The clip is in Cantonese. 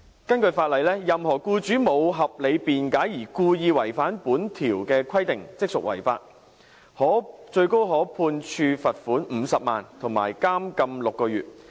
根據法例，任何僱主無合理辯解而故意違反本條例的規定，即屬違法，最高可判處罰款50萬元，以及監禁6個月。